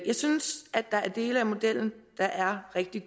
synes at der er dele af modellen der er rigtig